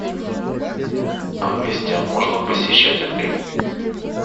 а гостям можно посещать отель